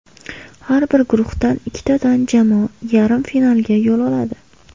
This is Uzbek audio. Har bir guruhdan ikkitadan jamoa yarim finalga yo‘l oladi.